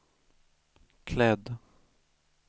klädd